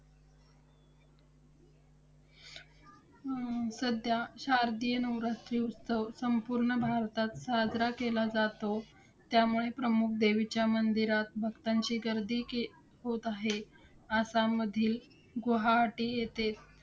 हम्म सध्या शारदीय नवरात्रोत्सव संपूर्ण भारतात साजरा केला जातो. त्यामुळे प्रमुख देवीच्या मंदिरात भक्तांची गर्दी के~ होत आहे. आसाममधील गुवाहाटी येथे